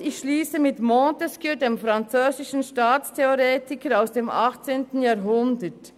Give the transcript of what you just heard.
Und ich schliesse mit Montesquieu, dem französischen Staatstheoretiker aus dem 18. Jahrhundert: